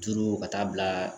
Duuru ka taa bila